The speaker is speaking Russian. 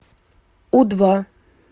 у два